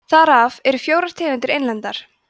þar af eru fjórar tegundir einlendar